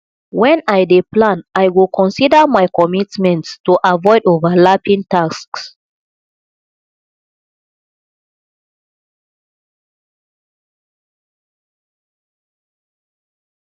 wen i dey plan i go consider my commitments to avoid overlapping tasks